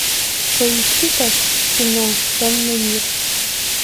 поищи ка кино темный мир